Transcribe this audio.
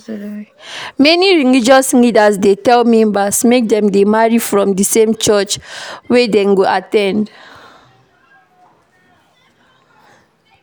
Many religious leaders dey tell members make dem marry from di same church wet dem dey at ten d